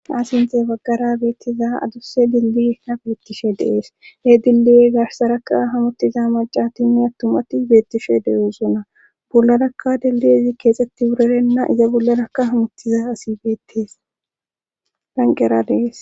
asinthe baggara beettiza adusse dilbi nafilittishe dees hee dindi7e garhsaraka hamuttiza macatinni attumatti beettishe deyoosona bullarakka deldezi keexxetti wurerenna iza bollarakka hamottiza asi betes banqera dees